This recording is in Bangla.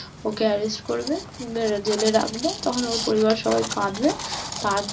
ওকে arrest করবে, এবার জেলে রাখবে, তখন ওর পরিবার সবাই কাঁদবে তারপর ।